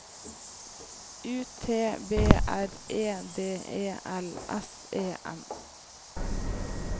U T B R E D E L S E N